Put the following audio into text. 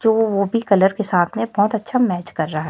जो वो भी कलर के साथ में बहोत मैच कर रहा--